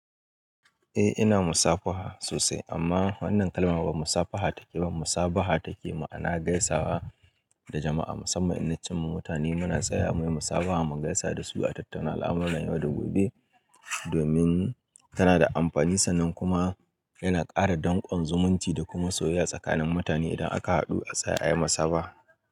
Eh ina musafaha sosai amma wannan kalma ba musafaha take ba musabaha take ma'ana gaisawa da jama'a musamman inna cinma mutane muna tsayawa muyi musabaha mu gaisa dasu a tattauna alamuran yau da gobe domin tana da amfani sannan kuma yana kara dankon zumunci da kuma soyayya tsakanin mutane idan aka hadu a tsaya ayi musabaha.